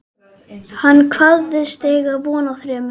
Hann kvaðst eiga von á þremur